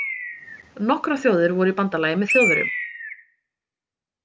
Nokkrar þjóðir voru í bandalagi með Þjóðverjum.